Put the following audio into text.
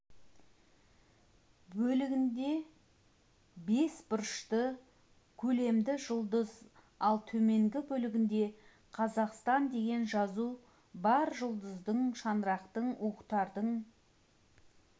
бөлігінде бес бұрышты көлемді жұлдыз ал төменгі бөлігінде қазақстан деген жазу бар жұлдыздың шаңырақтың уықтардың